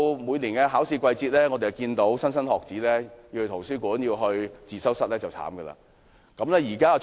每年到了考試季節，要到圖書館、自修室的莘莘學子也很可憐。